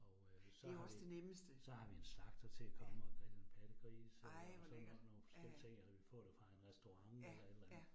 Og øh så har vi en, så har vi en slagter til at komme og grille en pattegris øh og sådan noget nogle forskellige ting, altså vi får det fra en restaurant eller et eller andet